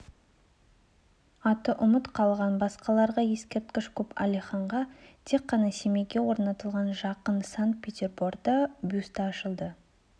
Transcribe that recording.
аты ұмыт қалған басқаларға ескерткіш көп әлиханға тек қана семейде орнатылған жақында сан-петерборда бюсті ашылды